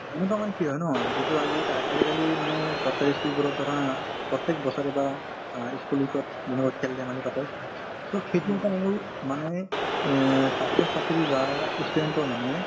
এনেকুৱা মানে কি হয় ন যিটো আজিকা আজিকালি মানে চৰকাৰী ই school বোৰত ধৰা প্ৰত্যেক বছৰে বা অ ই school week ত যেনেকৈ খেল-ধেমালি পাতে so সেইটো এটা হল মানে অ ছাত্ৰ-ছাত্ৰী বা ই student ৰ মানে